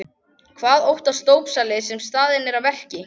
Hvað óttast dópsali sem staðinn er að verki?